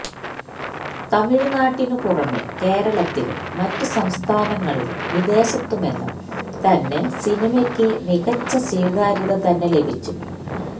തമിഴ്നാട്ടിനു പുറമെ കേരളത്തിലും മറ്റു സംസ്ഥാനങ്ങളിലും വിദേശത്തുമെല്ലാം തന്നെ സിനിമയ്ക്ക് മികച്ച സ്വീകാര്യത തന്നെ ലഭിച്ചു